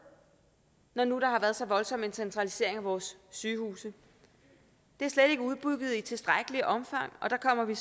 når nu der har været så voldsom en centralisering af vores sygehuse det er slet ikke udbygget i tilstrækkeligt omfang så der kommer vi